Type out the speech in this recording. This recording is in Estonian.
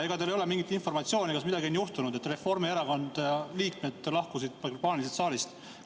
Ega teil ei ole mingit informatsiooni, kas midagi on juhtunud, et Reformierakonna liikmed lahkusid paaniliselt saalist?